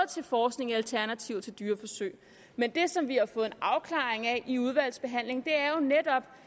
til forskning i alternativer til dyreforsøg men det som vi har fået en afklaring af i udvalgsbehandlingen er jo netop